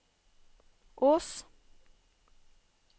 Ås